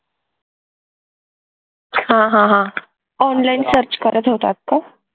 हा हा online search करत होतात का